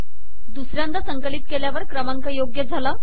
दुसऱ्यांदा संकलित केल्यावर क्रमांक योग्य झाले